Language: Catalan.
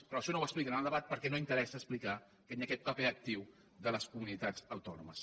però això no ho expli·quen en el debat perquè no interessa explicar que hi ha aquest paper actiu de les comunitats autònomes